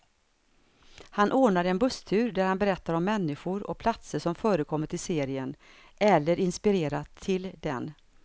Han ordnar en busstur där han berättar om människor och platser som förekommit i serien, eller inspirerat till den.